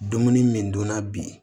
Dumuni min dun na bi